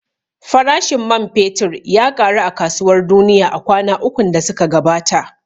Farashin man fetur ya ƙaru a kasuwar duniya a kwana ukun da suka gabata